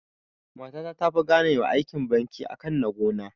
Mata ta tafi gane wa aikin banki akan na gona